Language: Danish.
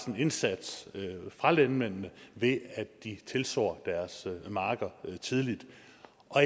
en indsats fra landmændene ved at de tilsår deres marker tidligt